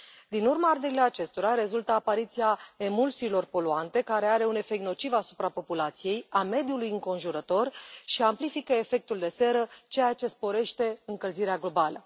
Din urma arderilor acestora rezultă apariția emulsiilor poluante, care au au un efect nociv asupra populației, a mediului înconjurător și amplifică efectul de seră, ceea ce sporește încălzirea globală.